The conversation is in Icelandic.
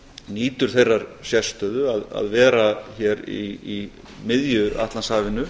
nýtur þeirrar sérstöðu að vera hér í miðju atlantshafinu